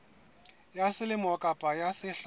ya selemo kapa ya sehla